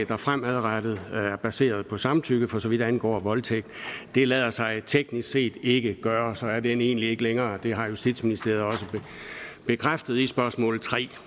fremadrettet er baseret på samtykke for så vidt angår voldtægt det lader sig teknisk set ikke gøre og så er den egentlig ikke længere det har justitsministeriet også bekræftet på spørgsmål tredje